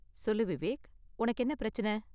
சொல்லு விவேக், உனக்கு என்ன பிரச்சின?